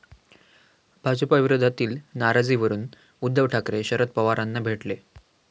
भाजपविरोधातील नाराजीवरून उद्धव ठाकरे, शरद पवारांना भेटले!